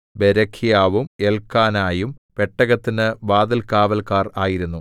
ബേരെഖ്യാവും എല്ക്കാനയും പെട്ടകത്തിന് വാതിൽകാവല്ക്കാർ ആയിരുന്നു